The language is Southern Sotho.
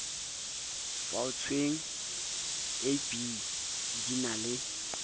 faotsweng ab di na le